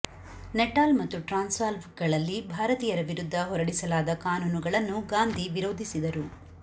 Natal ಮತ್ತು ಟ್ರಾನ್ಸ್ವಾಲ್ಗಳಲ್ಲಿ ಭಾರತೀಯರ ವಿರುದ್ಧ ಹೊರಡಿಸಲಾದ ಕಾನೂನುಗಳನ್ನು ಗಾಂದಿ ವಿರೋಧಿಸಿದರು